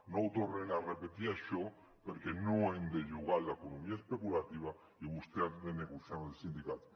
no ho tornin a repetir això perquè no hem de jugar amb l’economia especulativa i vostès han de negociar amb els sindicats